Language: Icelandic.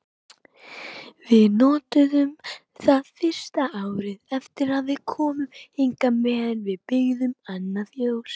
Við notuðum það fyrsta árið eftir að við komum hingað meðan við byggðum annað fjós.